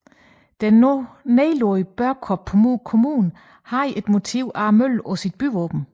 Den nu nedlagte Børkop Kommune havde et motiv af møllen på sit byvåben